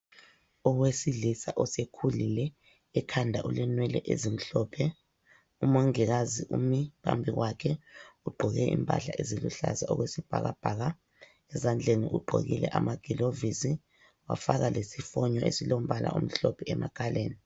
Owesilisa osekhulile ekhanda ulenwele ezimhlophe. Umongikazi umi phambi kwakhe ugqoke impahla eziluhlaza okwesibhakabhaka ezandleni ugqokile amagilovisi wafaka lesifonyo esilombala omhlophe emakhaleni.